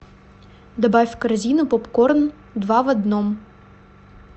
добавь в корзину попкорн два в одном